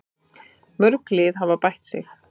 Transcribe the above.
Mörg lið hafa bætt sig.